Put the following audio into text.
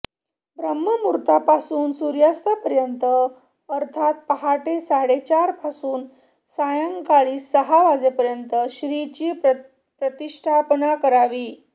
ब्राह्म मुहूर्तापासून सूर्यास्तापर्यंत अर्थात पहाटे साडेचारपासून सायंकाळी सहा वाजेपर्यंत श्रींची प्रतिष्ठापना करावी